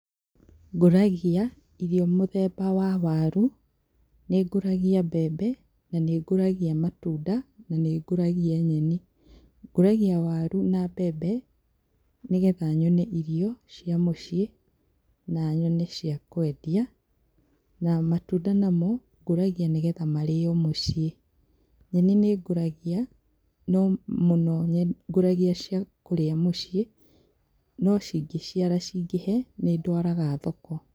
Ngũragia irio mũthemba wa waru, nĩ ngũragia mbembe na nĩ ngũragia matunda na nĩ ngũragia nyeni. Ngũragia waru na mbembe nĩ getha nyone irio cia mũciĩ na nyone cia kwendia na matunda namo ngũragia nĩgetha marĩo mũciĩ, nyeni nĩ ngũragia no mũno ngũragia cia kũrĩa mũciĩ, no cingĩciara cingĩhe nĩ ndwaraga thoko.